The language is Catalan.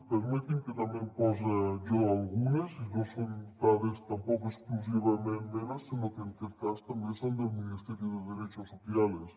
permeti’m que també n’hi posi jo algunes i no són dades tampoc exclusivament meves sinó que en aquest cas també són del ministerio de derechos sociales